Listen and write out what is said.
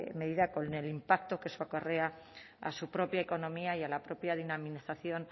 medida con el impacto que eso acarrea a su propia economía y a la propia dinamización